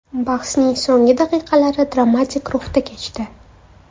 Bahsning so‘nggi daqiqalari dramatik ruhda kechdi.